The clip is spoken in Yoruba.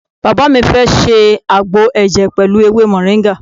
Bàbá mi fẹ́ ṣe àgbo ẹ̀jẹ̀ pẹ̀lú ewé moringa.